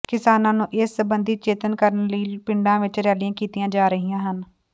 ਕਿਸਾਨਾਂ ਨੂੰ ਇਸ ਸਬੰਧੀ ਚੇਤੰਨ ਕਰਨ ਲਈ ਪਿੰਡਾਂ ਵਿੱਚ ਰੈਲੀਆਂ ਕੀਤੀਆਂ ਜਾ ਰਹੀਆਂ ਹਨ